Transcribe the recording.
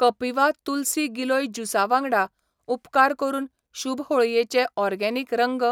कपिवा तुलसी गिलोय ज्यूसा वांगडा, उपकार करून शुभ होळयेचे ओर्गेनिक रंग,